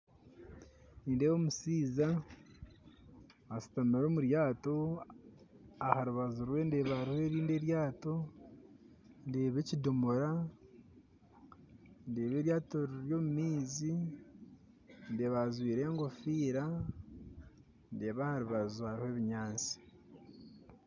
Nindeeba omushaija ashuutamire omu ryato aharubaju rwe ndeebaho erindi eryaato ndeeba ekindoomora ndeeba eryaato riri omu maizi ndeeba ajwire egofiira ndeeba aharubaju hariho ebinyaatsi